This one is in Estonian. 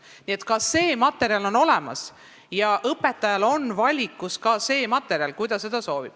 Nii et selline materjal on olemas ja see on ka õpetajal valikus, kui ta soovib seda kasutada.